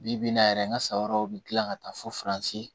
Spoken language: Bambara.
Bi bi in na yɛrɛ n ka sayɔrɔw bi kila ka taa foronze